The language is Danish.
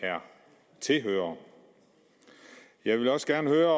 tilhører jeg vil også gerne høre